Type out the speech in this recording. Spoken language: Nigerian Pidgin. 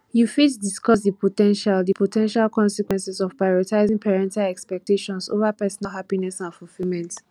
you fit discuss di po ten tial di po ten tial consequences of prioritizing parental expectations over personal happiness and fulfillment